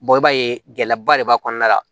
i b'a ye gɛlɛyaba de b'a kɔnɔna la